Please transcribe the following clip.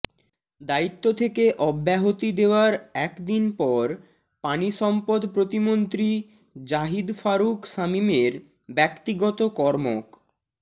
দায়িত্ব থেকে অব্যাহতি দেয়ার এক দিন পর পানিসম্পদ প্রতিমন্ত্রী জাহিদ ফারুক শামীমের ব্যক্তিগত কর্মক